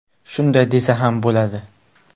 Shunday desa ham bo‘ladi.